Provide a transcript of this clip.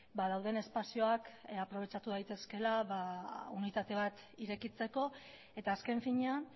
ba dauden espazioak aprobetxatu daitezkeela unitate bat irekitzeko eta azken finean